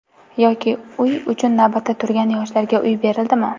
Yoki uy uchun navbatda turgan yoshlarga uy berildimi?